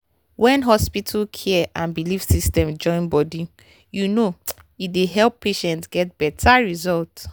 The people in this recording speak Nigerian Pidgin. when hospital care and belief system join body you know e dey help patients get better result.